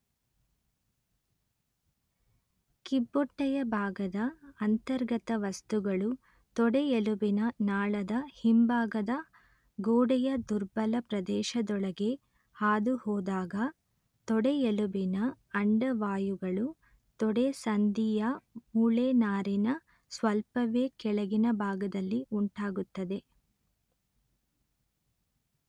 ಕಿಬ್ಬೊಟ್ಟೆಯ ಭಾಗದ ಅಂತರ್ಗತ ವಸ್ತುಗಳು ತೊಡೆಯೆಲುಬಿನ ನಾಳದ ಹಿಂಭಾಗದ ಗೋಡೆಯ ದುರ್ಬಲ ಪ್ರದೇಶದೊಳಗೆ ಹಾದುಹೋದಾಗ ತೊಡೆಯೆಲುಬಿನ ಅಂಡವಾಯುಗಳು ತೊಡೆಸಂದಿಯ ಮೂಳೆನಾರಿನ ಸ್ವಲ್ಪವೇ ಕೆಳಗಿನ ಭಾಗದಲ್ಲಿ ಉಂಟಾಗುತ್ತದೆ